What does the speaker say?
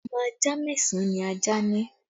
Ọmọ ajá mẹ́sàn án ni ajá ní